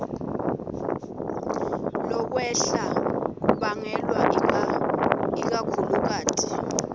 lokwehla kubangelwe ikakhulukati